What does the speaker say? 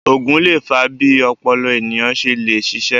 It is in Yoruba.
Ògùn lè fa bí ọpọlọ ènìyàn ṣe le ṣiṣé